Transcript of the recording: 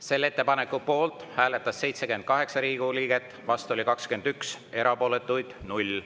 Selle ettepaneku poolt hääletas 78 Riigikogu liiget, vastu oli 21, erapooletuid oli 0.